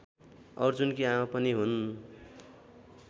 अर्जुनकी आमा पनि हुन्